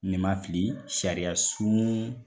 Ni ma fili sariya sun